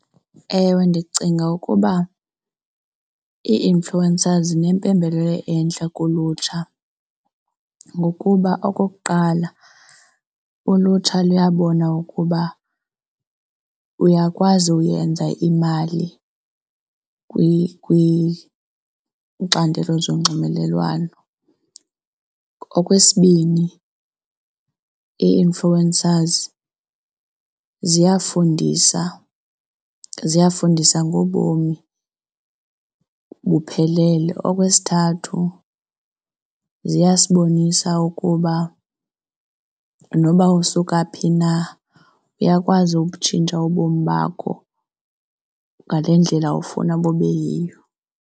Ewe, ndicinga ukuba ii-influencers zinempembelelo entle kulutsha ngokuba okokuqala ulutsha luyabona ukuba uyakwazi uyenza imali kwicandelo zonxibelelwano. Okwesibini, ii-influencers ziyafundisa ziyafundisa ngobomi buphelele. Okwesithathu, ziyasibonisa ukuba noba usuka phi na uyakwazi ukutshintsha ubomi bakho ngale ndlela ufuna bube yiyo.